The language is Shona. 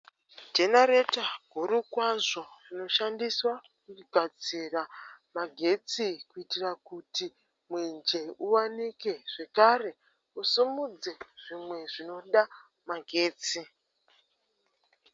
Jenareta huru kwazvo rinoshandiswa kugadzira magetsi kuitira kuti mwenje uwanike, zvekare usumudze zvimwe zvinoda magetsi.